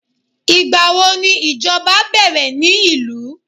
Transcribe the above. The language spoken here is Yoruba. igbawo ni ìjọba like bẹrẹ ni ilu